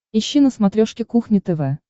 ищи на смотрешке кухня тв